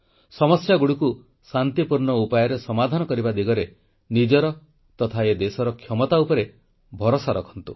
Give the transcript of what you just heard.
ସମସ୍ୟାଗୁଡ଼ିକୁ ଶାନ୍ତିପୂର୍ଣ୍ଣ ଉପାୟରେ ସମାଧାନ କରିବା ଦିଗରେ ନିଜର ତଥା ଏ ଦେଶର ସରକାରଙ୍କ ଉପରେ ଭରସା ରଖନ୍ତୁ